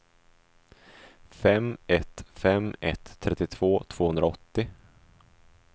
fem ett fem ett trettiotvå tvåhundraåttio